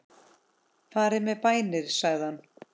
Farið með bænir sagði hann.